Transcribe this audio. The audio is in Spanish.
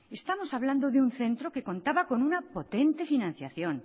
estamos hablando de un centro que contaba con una potente financiación